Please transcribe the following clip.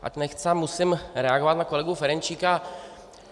Ač nechtě, musím reagovat na kolegu Ferjenčíka.